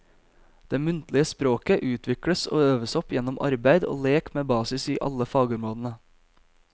Det muntlige språket utvikles og øves opp gjennom arbeid og lek med basis i alle fagområdene.